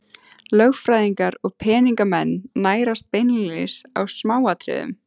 Lögfræðingar og peningamenn nærast beinlínis á smáatriðum